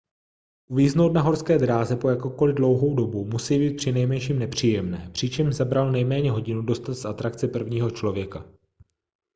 uvíznout na horské dráze po jakkoliv dlouhou dobu musí být přinejmenším nepříjemné přičemž zabralo nejméně hodinu dostat z atrakce prvního člověka